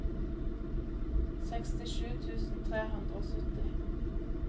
sekstisju tusen tre hundre og sytti